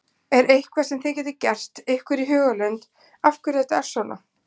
Er eitthvað sem þið getið gert ykkur í hugarlund af hverju þetta er svona?